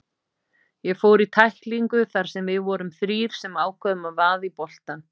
Ég fór í tæklingu þar sem við vorum þrír sem ákváðum að vaða í boltann.